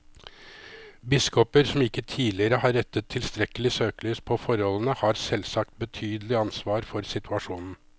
Biskoper som ikke tidligere har rettet tilstrekkelig søkelys på forholdene, har selvsagt betydelig ansvar for situasjonen.